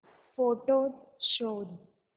photos शोध